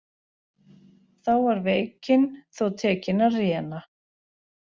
Þá var veikin þó tekin að réna.